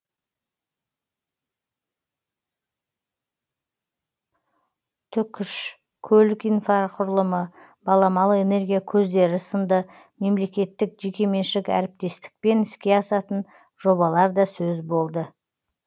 түкш көлік инфрақұрылымы баламалы энергия көздері сынды мемлекеттік жекеменшік әріптестікпен іске асатын жобалар да сөз болды